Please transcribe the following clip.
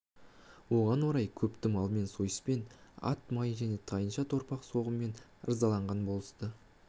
оған орай көпті малмен сойыспен ат майы және тайынша-торпақ соғыммен ырзалаған болысты